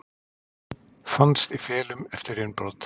Fannst í felum eftir innbrot